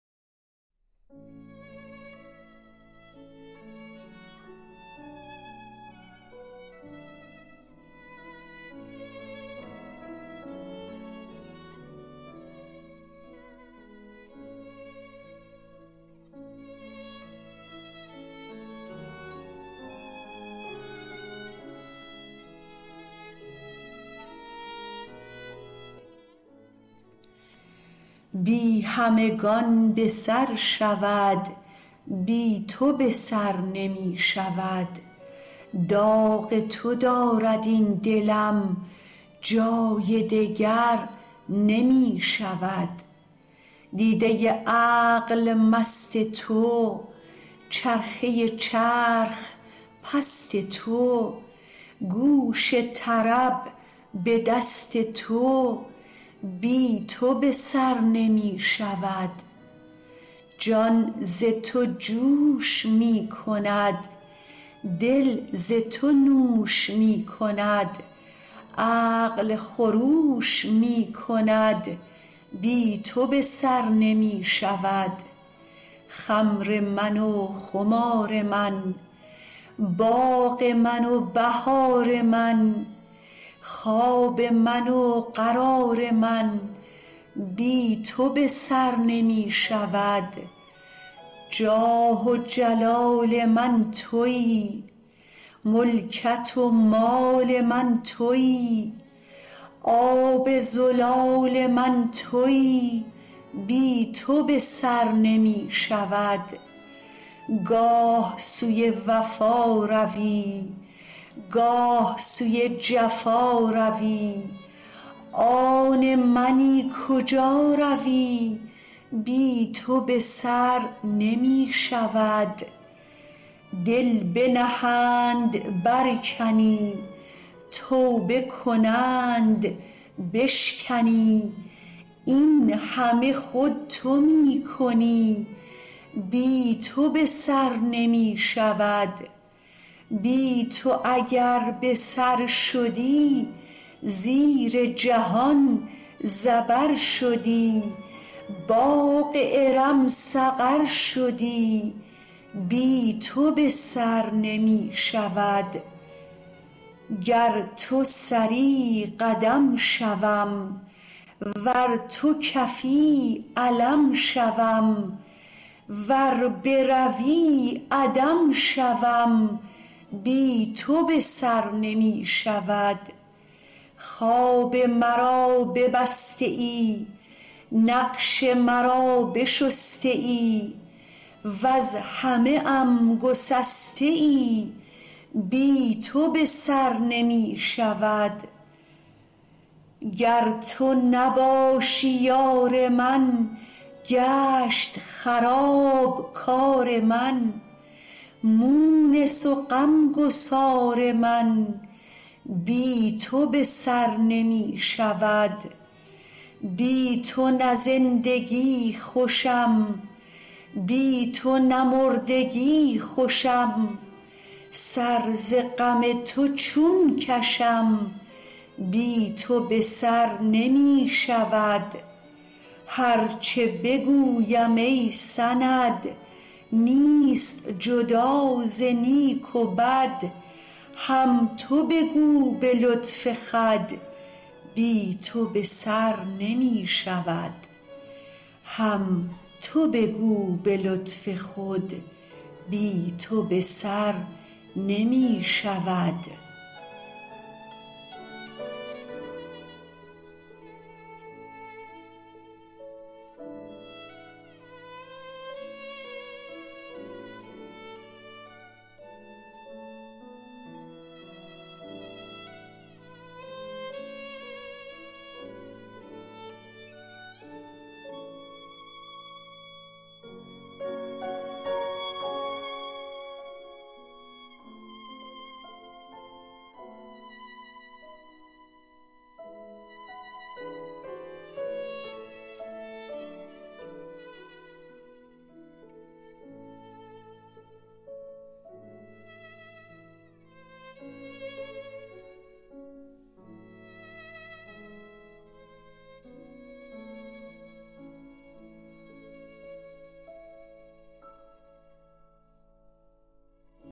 بی همگان به سر شود بی تو به سر نمی شود داغ تو دارد این دلم جای دگر نمی شود دیده عقل مست تو چرخه چرخ پست تو گوش طرب به دست تو بی تو به سر نمی شود جان ز تو جوش می کند دل ز تو نوش می کند عقل خروش می کند بی تو به سر نمی شود خمر من و خمار من باغ من و بهار من خواب من و قرار من بی تو به سر نمی شود جاه و جلال من تویی ملکت و مال من تویی آب زلال من تویی بی تو به سر نمی شود گاه سوی وفا روی گاه سوی جفا روی آن منی کجا روی بی تو به سر نمی شود دل بنهند برکنی توبه کنند بشکنی این همه خود تو می کنی بی تو به سر نمی شود بی تو اگر به سر شدی زیر جهان زبر شدی باغ ارم سقر شدی بی تو به سر نمی شود گر تو سری قدم شوم ور تو کفی علم شوم ور بروی عدم شوم بی تو به سر نمی شود خواب مرا ببسته ای نقش مرا بشسته ای وز همه ام گسسته ای بی تو به سر نمی شود گر تو نباشی یار من گشت خراب کار من مونس و غم گسار من بی تو به سر نمی شود بی تو نه زندگی خوشم بی تو نه مردگی خوشم سر ز غم تو چون کشم بی تو به سر نمی شود هر چه بگویم ای سند نیست جدا ز نیک و بد هم تو بگو به لطف خود بی تو به سر نمی شود